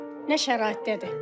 Nə şəraitdədir?